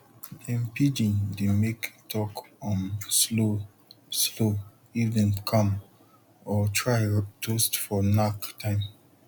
dem pidgin dey make talk um slow slow if dem calm or try toast for knack time